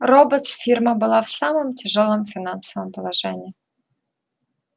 роботс фирма была в самом тяжёлом финансовом положении